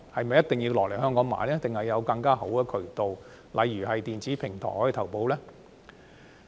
還是可以有更好的渠道？例如在電子平台投保。